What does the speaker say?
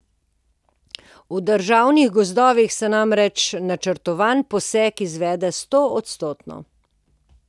V državnih gozdovih se namreč načrtovani posek izvede stoodstotno.